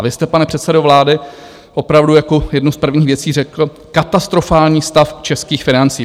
A vy jste, pane předsedo vlády opravdu jako jednu z prvních věcí řekl katastrofální stav českých financí.